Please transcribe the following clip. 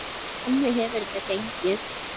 Og þannig hefur þetta gengið.